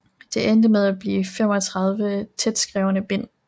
Det endte med at blive 35 tætskrevne bind